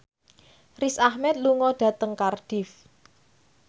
Riz Ahmed lunga dhateng Cardiff